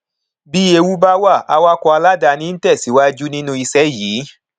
bí ewu bá wà awakọ aláàdáni ń tẹsíwájú nínú ìṣe yìí